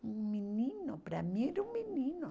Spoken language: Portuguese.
Um menino, para mim era um menino.